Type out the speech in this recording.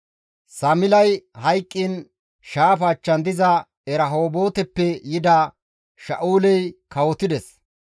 Samilay hayqqiin shaafa achchan diza Erahooboteppe yida Sha7uley kawotides.